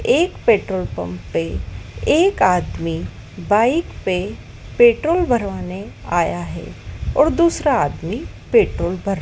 एक petrol pump पे एक आदमी बाइक पे पेट्रोल भरवाने आया है और दूसरा आदमी पेट्रोल भर--